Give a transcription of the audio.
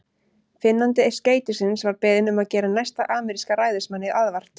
Finnandi skeytisins var beðinn um að gera næsta ameríska ræðismanni aðvart.